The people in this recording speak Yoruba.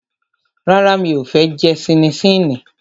Rárá, mi ò fẹ́ jẹ ṣíníṣíní